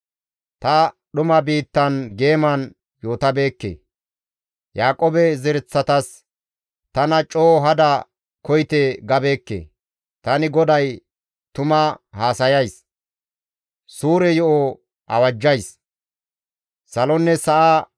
Ta dhuma biittan geeman yootabeekke; Yaaqoobe zereththatas, «Tana coo hada koyite» gabeekke. Tani GODAY tuma haasayays; suure yo7o awajjays.